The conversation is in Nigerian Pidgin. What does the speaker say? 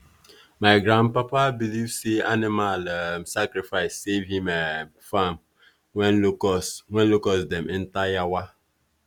my grandpapa believe say animal um sacrifice save him um farm when locust when locust dem enter yawa.